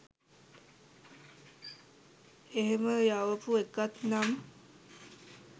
එහෙම යවපු එකක් නම්